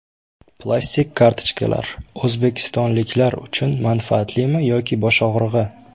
Plastik kartochkalar: o‘zbekistonliklar uchun manfaatlimi yoki bosh og‘rig‘i?